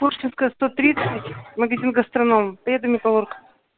пушкинская сто тридцать магазин гастроном поеду металлург